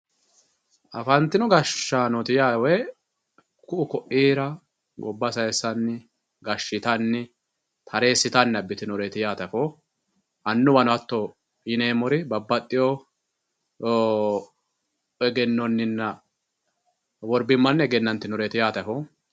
afantino gashshanooti yaa woy ku'u ko'iira gobba saayisanni gashshitanni tareesitanni abitinoreeti yaate afoo annuwano hatto yoneemori babbaxioo egenonnina worbimmanni egenantinoreeti yaate afoo